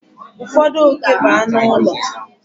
Ụfọdụ oke bụ anụ ụlọ.